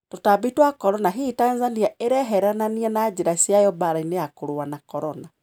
Tũtabi twa Corona: Hihi, Tanzania ireeheranania na jirani ciayo mbara-ini ya kũrũwa na Corona?